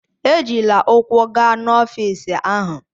Ejila ụkwụ gaa n'ọfịisi ahụ!